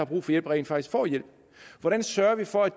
brug for hjælp rent faktisk får hjælp hvordan sørger vi for at